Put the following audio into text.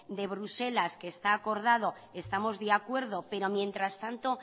de bruselas que está acordado estamos de acuerdo pero mientras tanto